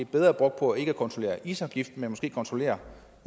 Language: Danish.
bedre brugt på ikke at kontrollere isafgift men måske kontrollere